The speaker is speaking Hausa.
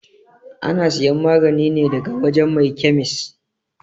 Ana siyan magani ne daga wajan mai kyamis